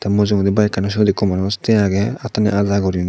mujungedi bayekaani syot ekko manus tiye aagey attani aja goriney.